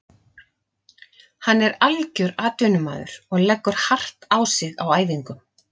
Hann er algjör atvinnumaður og leggur hart á sig á æfingum.